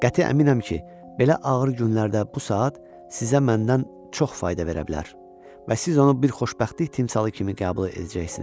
Qəti əminəm ki, belə ağır günlərdə bu saat sizə məndən çox fayda verə bilər və siz onu bir xoşbəxtlik timsalı kimi qəbul edəcəksiniz.